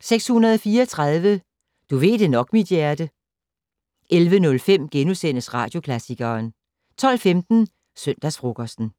634 "Du ved det nok, mit hjerte". 11:05: Radioklassikeren * 12:15: Søndagsfrokosten